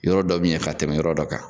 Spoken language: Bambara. Yɔrɔ dɔ bɛ ɲɛ ka tɛmɛ yɔrɔ dɔ kan.